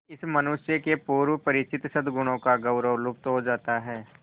इस मनुष्य के पूर्व परिचित सदगुणों का गौरव लुप्त हो जाता है